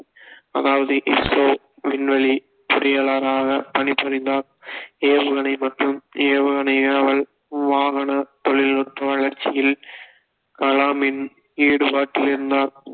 அதாவது இப்போ விண்வெளி பொறியாளராக பணிபுரிந்தார் ஏவுகணை மற்றும் ஏவுகணை ஏவல் வாகன தொழில்நுட்ப வளர்ச்சியில் காலமின் ஈடுபாட்டில் இருந்தார்